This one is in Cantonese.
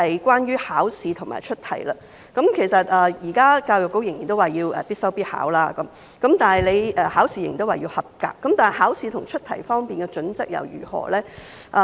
關於考試和出題，教育局現時仍然說通識科要必修必考，考試也依然要及格，但考試和出題方面的準則如何？